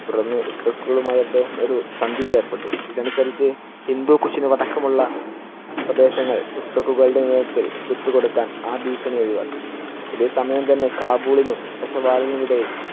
തുടര്‍ന്ന് ഉസ്ബെക്കുകളുമായി അദ്ദേഹം ഒരു സന്ധിയിൽ ഏർപ്പെട്ടു. ഇതനുസരിച്ച് ഹിന്ദുക്കുഷിനു അടക്കം ഉള്ള പ്രദേശങ്ങൾ ഉസ്തകുകളുടെ നേതൃത്വത്തിൽ വിട്ടുകൊടുക്കാൻ ആ ഭീഷണി ഒഴിവാക്കി. ഇതേ സമയം തന്നെ കാബുളിനും പെഷവാറിനും ഇടയിൽ